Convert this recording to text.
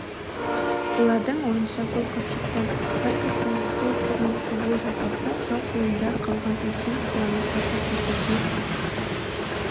олардың ойынша сол қапшықтан харьковтың солтүстігінен шабуыл жасалса жау қолында қалған үлкен қаланы азат етуге